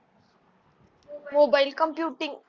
mobilecomputing